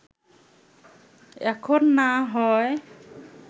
এখন না হয়